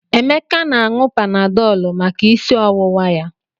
Emeka na-aṅụ Panadọlụ maka isi ọwụwa ya.